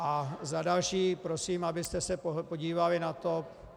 A za další prosím, abyste se podívali na to...